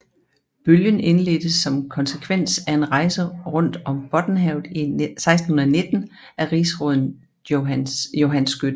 Bølgen indledtes som konsekvens af en rejse rundt om Bottenhavet i 1619 af rigsråden Johan Skytte